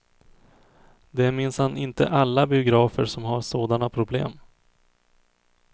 Det är minsann inte alla biografer som har sådana problem.